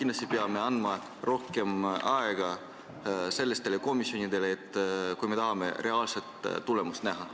Me peame andma sellistele komisjonidele rohkem aega, kui me tahame reaalset tulemust näha.